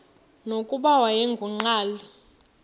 nokuba wayengu nqal